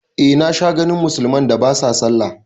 Eh na sha ganin musulman da ba sa sallah